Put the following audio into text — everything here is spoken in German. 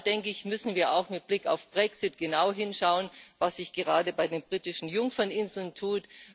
Und da müssen wir auch mit Blick auf den Brexit genau hinschauen, was sich gerade bei den Britischen Jungferninseln tut.